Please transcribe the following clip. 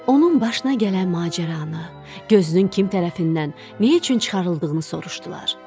Onun başına gələn macəranı, gözünün kim tərəfindən, nə üçün çıxarıldığını soruşdular.